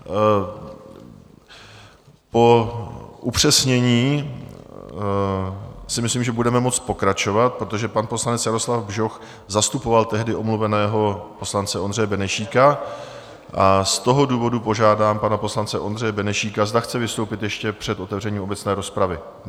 Po upřesnění si myslím, že budeme moci pokračovat, protože pan poslanec Jaroslav Bžoch zastupoval tehdy omluveného poslance Ondřeje Benešíka, a z toho důvodu požádám pana poslance Ondřeje Benešíka, zda chce vystoupit ještě před otevřením obecné rozpravy?